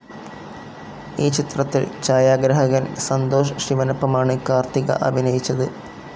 ഈ ചിത്രത്തിൽ ഛായാഗ്രാഹകൻ സന്തോഷ് ശിവനൊപ്പമാണ് കാർത്തിക അഭിനയിച്ചത്.